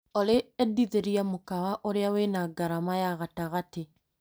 Olĩ endithĩrĩria mũkawa ũrĩa wĩna ngarama ya gatagate .